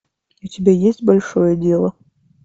у тебя есть большое дело